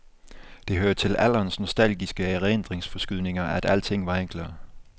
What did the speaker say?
Det hører til alderens nostalgiske erindringsforskydninger, at alting var enklere.